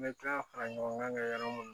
N bɛ taa fara ɲɔgɔn kan yɔrɔ minnu